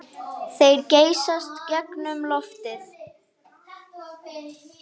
Þeir geysast gegnum loftið.